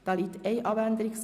Abänderungsantrag VA